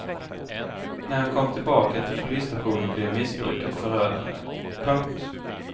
När han kom tillbaka till polisstationen blev missbruket förödande. punkt